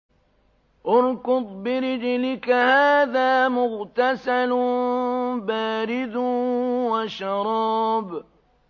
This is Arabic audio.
ارْكُضْ بِرِجْلِكَ ۖ هَٰذَا مُغْتَسَلٌ بَارِدٌ وَشَرَابٌ